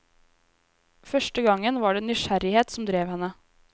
Første gangen var det nysgjerrighet som drev henne.